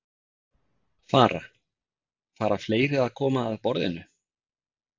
Fara, fara fleiri að koma að borðinu?